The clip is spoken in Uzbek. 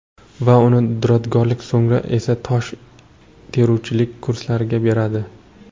Va uni duradgorlik, so‘ngra esa tosh teruvchilik kurslariga beradi.